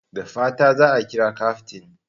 Da fatan za a kira kyaftin!